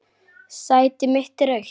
Sæti mitt er autt.